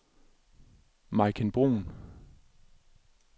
Maiken Bruun